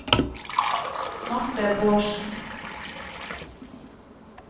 Marthe Bårdsen